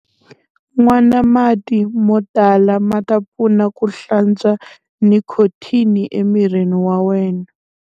Nwana mati mo tala ma ta pfuna ku hlantswa nikhothini emirini wa wena.